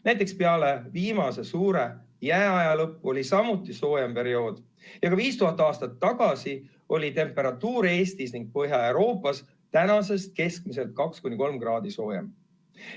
Näiteks peale viimase suure jääaja lõppu oli samuti soojem periood ja ka 5000 aastat tagasi oli temperatuur Eestis ning mujal Põhja-Euroopas praegusest keskmiselt 2–3 kraadi soojem.